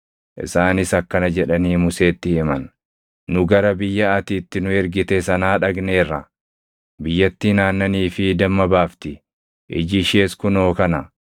Isaanis akkana jedhanii Museetti himan: “Nu gara biyya ati itti nu ergite sanaa dhaqneerra; biyyattiin aannanii fi damma baafti! Iji ishees kunoo kana.